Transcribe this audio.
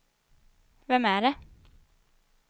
vem är det